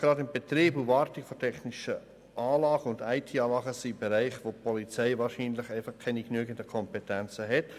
Gerade der Betrieb und die Wartung von technischen Anlagen sind Bereiche, in denen die Polizei wahrscheinlich keine genügenden Kompetenzen hat.